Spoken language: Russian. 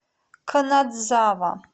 канадзава